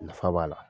Nafa b'a la